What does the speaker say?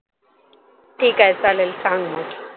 ठीक आहे चालेल सांग मग